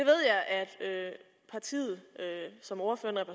partiet som ordføreren